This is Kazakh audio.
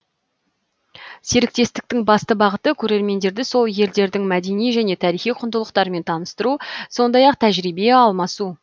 серіктестіктің басты бағыты көрермендерді сол елдердің мәдени және тарихи құндылықтарымен таныстыру сондай ақ тәжірибе алмасу